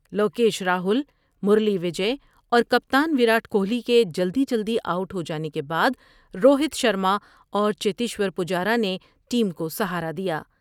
Lokesh Rahul Murali Vijay اور کپتان وراٹ کوہلی کے جلدی جلدی آؤٹ ہو جانے کے بعد روہت شرمااور چیتیشور پجارا نے ٹیم کو سہارا دیا ۔